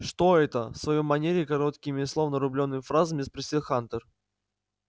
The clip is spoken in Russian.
что это в своей манере короткими словно рублёными фразами спросил хантер